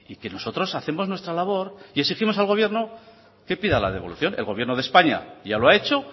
nosotros hacemos nuestra labor y pedimos al gobierno que pida la devolución el gobierno de españa ya lo ha hecho